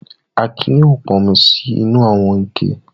Akin yóò pọnmi sí inú àwọn ike.